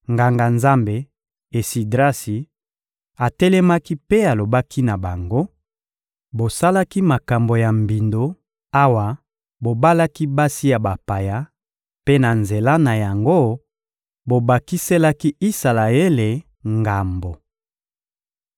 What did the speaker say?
Nganga-Nzambe Esidrasi atelemaki mpe alobaki na bango: — Bosalaki makambo ya mbindo awa bobalaki basi ya bapaya; mpe, na nzela na yango, bobakiselaki Isalaele ngambo.